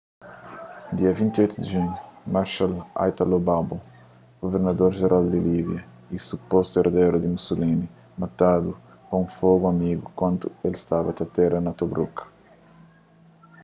dia 28 di junhu marechal italo balbo guvernador jeral di líbia y supostu erderu di mussolini matadu pa un fogu amigu kantu el staba ta atera na tobruk